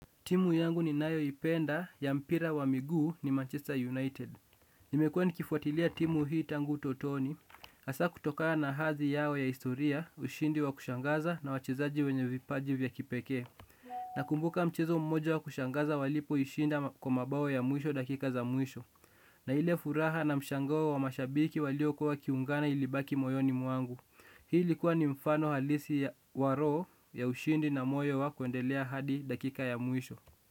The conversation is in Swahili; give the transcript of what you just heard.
Timu yangu ninayoipenda ya mpira wa miguu ni Manchester United. Nimekuwa nikifuatilia timu hii tangu utotoni. Hasa kutokana na hadhi yao ya historia, ushindi wa kushangaza na wachezaji wenye vipaji vya kipekee. Nakumbuka mchezo mmoja wa kushangaza walipoishinda kwa mabao ya mwisho dakika za mwisho. Na ile furaha na mshangao wa mashabiki waliokuwa wakiungana ilibaki moyoni mwangu. Hii likuwa ni mfano halisi ya roho ya ushindi na moyo wa kuendelea hadi dakika ya mwisho.